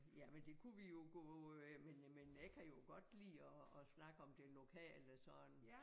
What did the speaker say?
Jamen det kunne vi jo gå øh men øh men øh jeg kan jo godt lide at snakke om det lokale sådan